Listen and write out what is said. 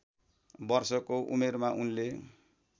वर्षको उमेरमा उनले